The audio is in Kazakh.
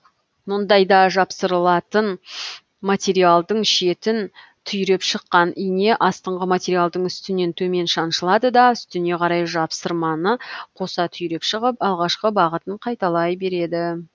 мұндайда жапсырылатын материалдың шетін түйреп шыққан ине астыңғы материалдың үстінен төмен шаншылады да үстіне қарай жапсырманы қоса түйреп шығып алғашқы бағытын қайталай береді